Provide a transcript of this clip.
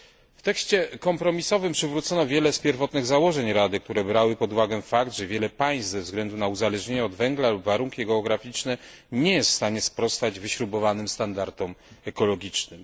W tekście kompromisowym przywrócono wiele z pierwotnych założeń Rady, które brały pod uwagę fakt, że wiele państw ze względu na uzależnienie od węgla lub warunki geograficzne nie jest w stanie sprostać wyśrubowanym standardom ekologicznym.